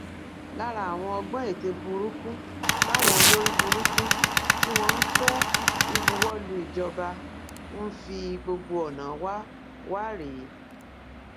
lára àwọn ọgbọn ète burúkú táwọn olórí burúkú tí wọn ń fẹ ìbuwọlù ìjọba ń fi gbogbo ọnà wa wa rèé